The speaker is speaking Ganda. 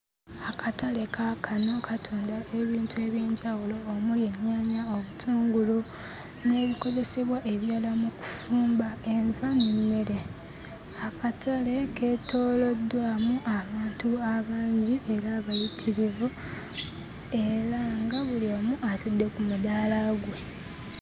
Akatale kaakano katunda ebintu eby'enjawulo omuli ennyaanya, obutungulu n'ebikozesebwa ebirala mu kufumba enva n'emmere. Akatale keetooloddwamu abantu abangi era abayitirivu era nga buli omu atudde ku mudaala gwe.